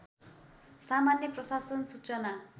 सामान्य प्रशासन सूचना